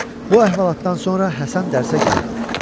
Bu əhvalatdan sonra Həsən dərsə gəlmədi.